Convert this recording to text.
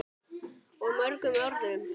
Og mörgum öðrum.